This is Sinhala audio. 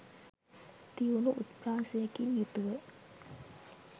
තියුණු උත්ප්‍රාසයකින් යුතුව